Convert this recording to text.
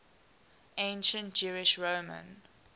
ancient jewish roman